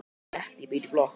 Bettý býr í blokk.